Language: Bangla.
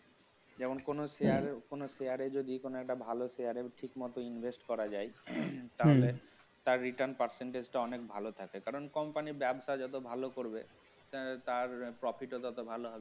যেমন কোন share কোন share এ যদি কোন একটা ভালো share এ ঠিকমত invest করা যায় হম তাহলে তার return percentage টা অনেক ভালো থাকে কারণ company ব্যবসা যত ভাল করবে তার profit ও তত ভালো হবে